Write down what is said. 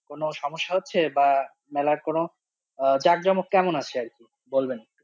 কোনো সমস্যা হচ্ছে বা মেলার কোনো জাকজমক কেমন আছে আর কি বলবেন?